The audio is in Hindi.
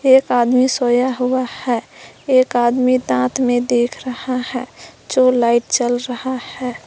एक आदमी सोया हुआ है एक आदमी दांत में देख रहा है जो लाइट जल रहा है।